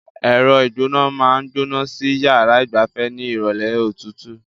Ẹ̀rọ ìgbóná máa ń gbóná sí yàrá ìgbafẹ́ ní ìrọ̀lẹ́ òtútù.